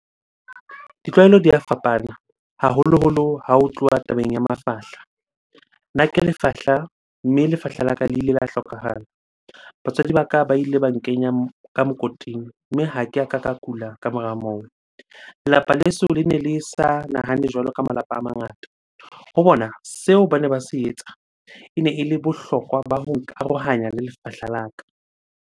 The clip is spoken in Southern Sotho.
Ditlwaelo di a fapana haholoholo ha ho tluwa tabeng ya mafahla. Nna ke lefahla, mme lefahla la ka le ile la hlokahala. Batswadi ba ka ba ile ba nkenya ka mokoting, mme ha ke a ka ka kula ka mora moo. Lelapa leso lene le sa nahane jwalo ka malapa a mangata. Ho bona seo bane ba se etsa, ene ele bohlokwa ba ho nkarohanya le lefahla la ka.